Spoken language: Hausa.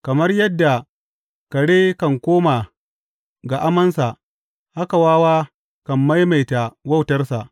Kamar yadda kare kan koma ga amansa, haka wawa kan maimaita wautarsa.